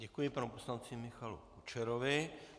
Děkuji panu poslanci Michalu Kučerovi.